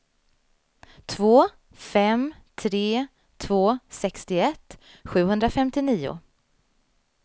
två fem tre två sextioett sjuhundrafemtionio